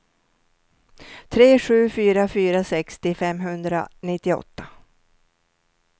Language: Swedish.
tre sju fyra fyra sextio femhundranittioåtta